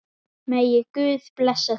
Megi Guð blessa þig.